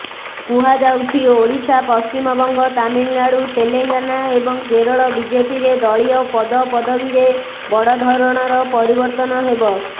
କୁହାଯାଉଛି ଓଡ଼ିଶା ପଶ୍ଚିମବଙ୍ଗ ତାମିଲନାଡୁ ତେଲଙ୍ଗାନା ଏବଂ କେରଳ ବିଜେପିରେ ଦଳୀୟ ପଦପଦବୀରେ ବଡ଼ ଧରଣର ପରିବର୍ତ୍ତନ ହେବ